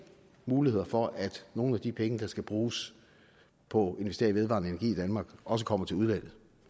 muligheder for at nogle af de penge der skal bruges på at investere i vedvarende energi i danmark også kommer til udlandet